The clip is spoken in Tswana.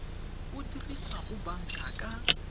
o dirisa go banka ka